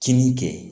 Kinin kɛ